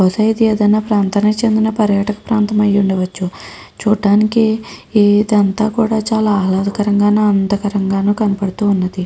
బహుశా ఇది ఏదైనా ప్రాంతానికి చెందిన పర్యాటక ప్రాంతం అయ్యుండవచ్చు. చూడటానికి ఇది అంతా కూడా ఆహ్లాదకరంగాను ఆనందంగాను కనబడుతూ ఉన్నది.